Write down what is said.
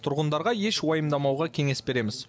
тұрғындарға еш уайымдамауға кеңес береміз